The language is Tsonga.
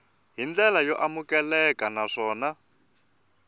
hi ndlela yo amukeleka naswona